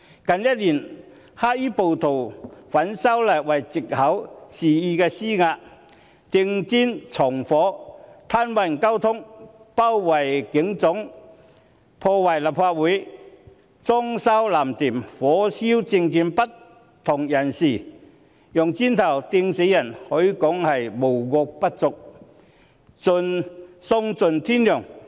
近一年來，黑衣暴徒以反修例為藉口，肆意施壓，投擲磚塊、縱火、癱瘓交通、包圍香港警察總部、破壞立法會、"裝修藍店"、火燒政見不同人士、投擲磚塊致人死亡，可說是無惡不作，喪盡天良。